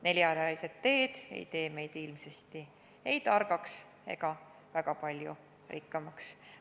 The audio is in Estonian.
Neljarealised teed ei tee meid ilmsesti ei targaks ega väga palju rikkamaks.